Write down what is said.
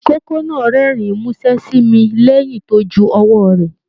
Ikòkò náà rẹ́rìn musẹ sí mí lẹyìn tó jù ọwọ rẹ